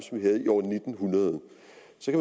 som